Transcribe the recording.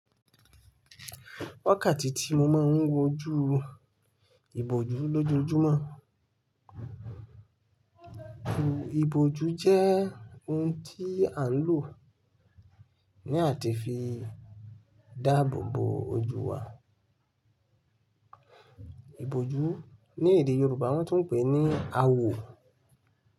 Wákàtí tí mo máa ń wo ojú, ìbòjú lójoojúmọ́. Òò, ìbòjú jẹ́ ohun tí à ń lò ní àti fi dáàbò bo ojú wa. Ìbòjú ní èdè Yorùbá wọ́n tún ń pè ní àwò.